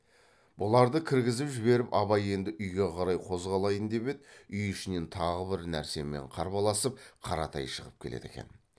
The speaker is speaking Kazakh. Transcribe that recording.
бұларды кіргізіп жіберіп абай енді үйге қарай қозғалайын деп еді үй ішінен тағы бір нәрсемен қарбаласып қаратай шығып келеді екен